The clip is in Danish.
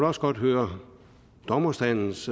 også godt høre dommerstandens